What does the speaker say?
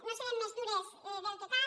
no serem més dures del que cal